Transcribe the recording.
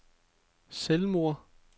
selvmord